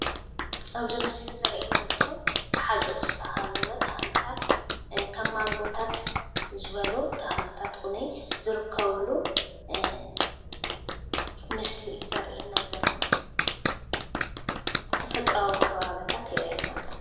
ኣብዚ ምስሊ ዘርእየና ዘሎ ብሓፁር ዝተኸበበ ተኽልታት ከም ማንጎታተ ዝበሉ ተኽልታት እዉነይ ዝርከበሉ ምስሊ እዩ ዘርእየና ዘሎ። ተፈጥሮኣዊ ከባቢታት የረእየና ኣሎ።